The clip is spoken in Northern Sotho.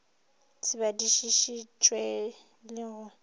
se badišiši tšwe le go